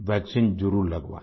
vaccine जरुर लगवाएं